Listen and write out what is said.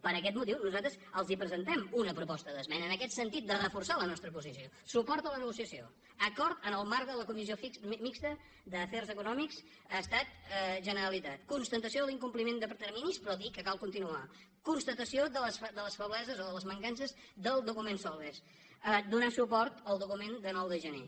per aquest motiu nosaltres els presentem una proposta d’esmena en aquest sentit de reforçar la nostra posició suport a la negociació acord en el marc de la comissió mixta d’afers econòmics estat generalitat constatació de l’incompliment de terminis però dir que cal continuar constatació de les febleses o de les mancances del document solbes donar suport al document de nou de gener